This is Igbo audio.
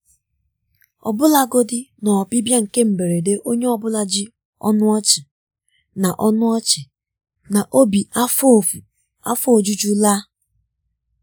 ọbụlagodi na ọbịbịa nke mberede onye ọ bụla ji ọnụ ọchị na ọnụ ọchị na obi afọọ ojuju laa.